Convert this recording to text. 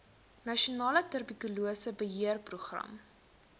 nasionale tuberkulose beheerprogram